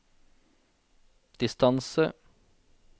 distance